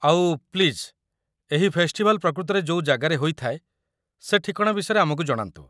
ଆଉ, ପ୍ଲିଜ୍, ଏହି ଫେଷ୍ଟିଭାଲ୍‌ ପ୍ରକୃତରେ ଯୋଉ ଜାଗାରେ ହୋଇଥାଏ ସେ ଠିକଣା ବିଷୟରେ ଆମକୁ ଜଣାନ୍ତୁ ।